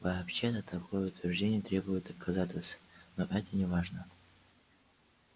вообще-то такое утверждение требует доказательств но это неважно